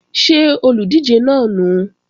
Ṣé olùdíje náà nùu?